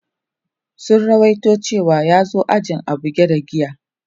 Sun ruwaito cewa ya zo ajin a buge da giya.